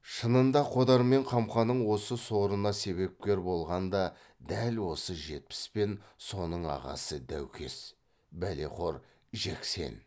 шынында қодар мен қамқаның осы сорына себепкер болған да дәл осы жетпіс пен соның ағасы даукес бәлеқор жексен